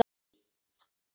Þú færð hann ekki.